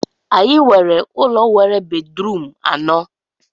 Anyị nwere ụlọ nwere bedrum anọ